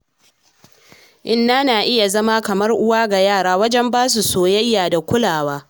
Inna na iya zama kamar uwa ga yara wajen ba su soyayya da kulawa.